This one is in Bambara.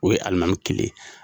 O ye alimami kelen ye.